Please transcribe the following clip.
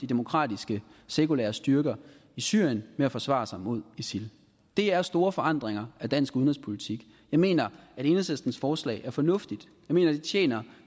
demokratiske sekulære styrker i syrien med at forsvare sig imod isil det er store forandringer af dansk udenrigspolitik jeg mener at enhedslistens forslag er fornuftigt jeg mener at det tjener